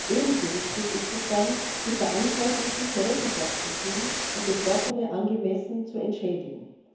Ebenso wichtig ist es dann, die Verantwortlichen zur Rechenschaft zu ziehen und Betroffene angemessen zu entschädigen.